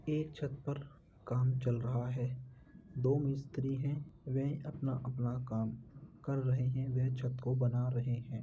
एक छत पर काम चल रहा है। दो मिस्त्री हैं। वे अपना-अपना काम कर रहे हैं। वे छत को बना रहें हैं।